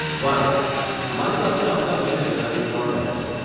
વારુ, અમારી પાસે આવતા મહિને જનારી ત્રણ બેચ છે.